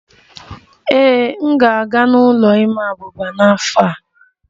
Ee, m ga-aga n'ụlọ ịma abuba n'afọ a